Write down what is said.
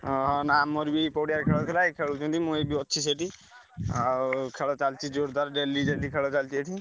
ଓହୋ। ନାଁ ଆମର ବି ପଡିଆରେ ଖେଳ ଥିଲା ଏଇଠି ଖେଳୁଛନ୍ତି ମୁଁ ବି ଅଛି ସେଇଠି ଆଉ ଖେଳ ଚାଲିଛି ଜୋରଦାର daily ଖେଳ ଚାଲିଛି ଏଇଠି।